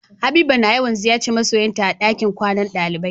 Habiba na yawan ziyace ma'soyin ta a dakin kwanan dalibai.